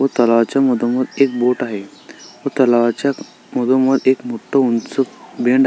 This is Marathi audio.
एक तलावाच्या मधोमद एक बोट आहे व तलावाच्या मधोमद एक मोठ उंच बेंड --